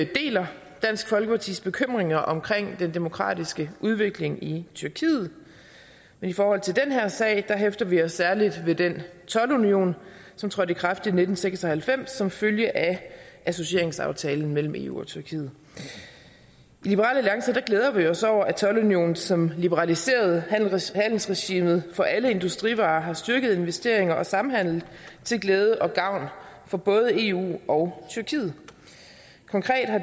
deler dansk folkepartis bekymringer omkring den demokratiske udvikling i tyrkiet men i forhold til den her sag hæfter vi os særlig ved den toldunion som trådte i kraft i nitten seks og halvfems som følge af associeringsaftalen mellem eu og tyrkiet i liberal alliance glæder vi os over at toldunionen som liberaliserede handelsregimet for alle industrivarer har styrket investeringer og samhandel til glæde og gavn for både eu og tyrkiet